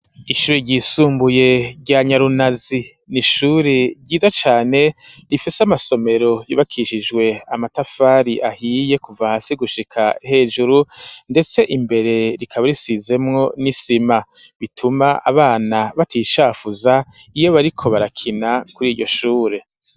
Ishure ryisumbuye rya nyarunazi n'ishure ryiza cane rifese amasomero yubakishijwe amatafari ahiye kuva hasi gushika hejuru ndetse imbere rikaba risizemwo n'isima bituma abana batishafuza iyo bariko barakina kuri iryo shure.